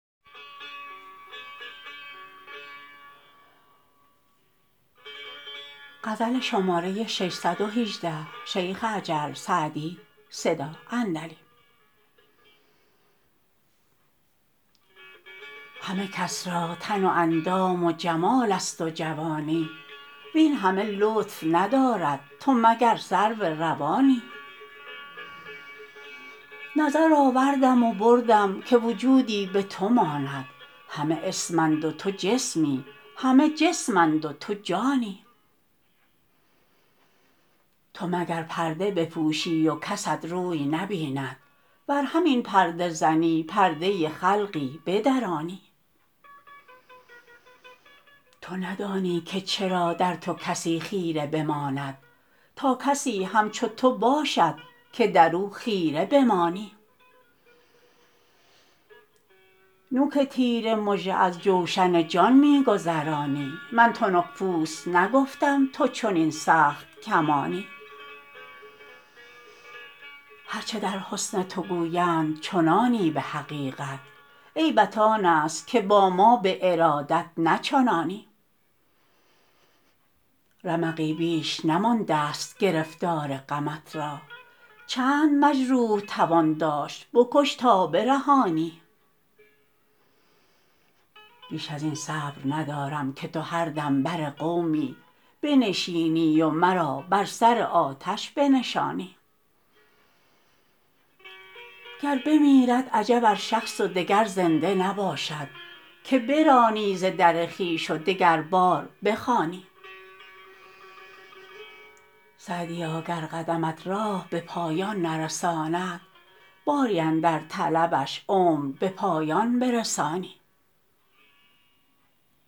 همه کس را تن و اندام و جمال است و جوانی وین همه لطف ندارد تو مگر سرو روانی نظر آوردم و بردم که وجودی به تو ماند همه اسم اند و تو جسمی همه جسم اند و تو جانی تو مگر پرده بپوشی و کست روی نبیند ور همین پرده زنی پرده خلقی بدرانی تو ندانی که چرا در تو کسی خیره بماند تا کسی همچو تو باشد که در او خیره بمانی نوک تیر مژه از جوشن جان می گذرانی من تنک پوست نگفتم تو چنین سخت کمانی هر چه در حسن تو گویند چنانی به حقیقت عیبت آن است که با ما به ارادت نه چنانی رمقی بیش نمانده ست گرفتار غمت را چند مجروح توان داشت بکش تا برهانی بیش از این صبر ندارم که تو هر دم بر قومی بنشینی و مرا بر سر آتش بنشانی گر بمیرد عجب ار شخص و دگر زنده نباشد که برانی ز در خویش و دگربار بخوانی سعدیا گر قدمت راه به پایان نرساند باری اندر طلبش عمر به پایان برسانی